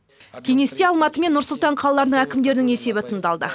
кеңесте алматы мен нұр сұлтан қалаларының әкімдерінің есебі тыңдалды